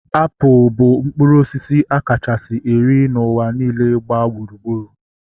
Apụl bụ mkpụrụ osisi a kachasị eri n'ụwa niile gbaa gburugburu